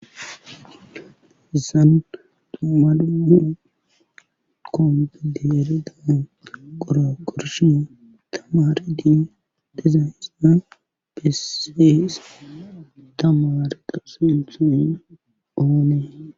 Zaan tumadumu kongidi erida qoro korshin tamaari di dizaysna besfeyse tamaareqa sinthon oonee.